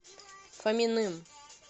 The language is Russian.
фоминым